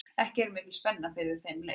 Er ekki mikil spenna fyrir þeim leik?